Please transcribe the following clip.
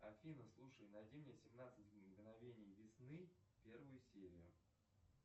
афина слушай найди мне семнадцать мгновений весны первую серию